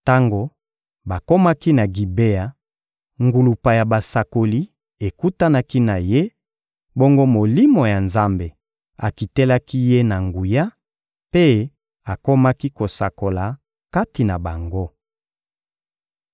Tango bakomaki na Gibea, ngulupa ya basakoli ekutanaki na ye; bongo Molimo ya Nzambe akitelaki ye na nguya, mpe akomaki kosakola kati na bango.